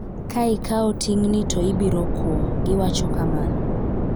"Ka ikawo ting'ni to ibiro kwo,"giwacho kamano.